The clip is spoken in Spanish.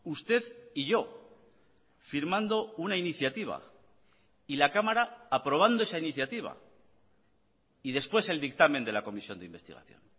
usted y yo firmando una iniciativa y la cámara aprobando esa iniciativa y después el dictamen de la comisión de investigación